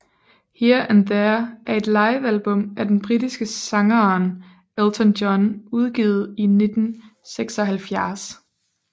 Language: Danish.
Here and There er et livealbum af den britiske sangeren Elton John udgivet i 1976